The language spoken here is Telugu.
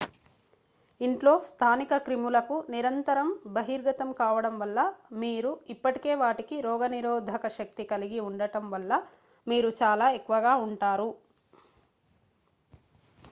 ఇంట్లో స్థానిక క్రిములకు నిరంతరం బహిర్గతం కావడం వల్ల మీరు ఇప్పటికే వాటికి రోగనిరోధక శక్తి కలిగి ఉండటం వల్ల మీరు చాలా ఎక్కువగా ఉంటారు